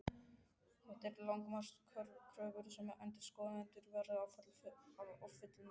Þetta eru lágmarkskröfur sem endurskoðendur verða ávallt að fullnægja.